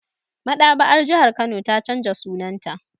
Maɗaba'ar jihar Kano ta canza sunanta